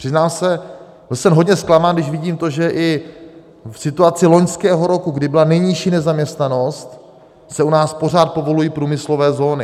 Přiznám se, byl jsem hodně zklamán, když vidím to, že i v situaci loňského roku, kdy byla nejnižší nezaměstnanost, se u nás pořád povolují průmyslové zóny.